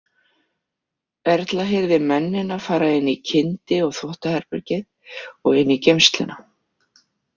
Erla heyrði mennina fara inn í kyndi- og þvottaherbergið og inn í geymsluna.